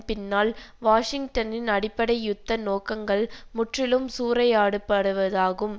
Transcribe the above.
பின்னால் வாஷிங்டனின் அடிப்படை யுத்த நோக்கங்கள் முற்றிலும் சூறையாடுபடுவதாகும்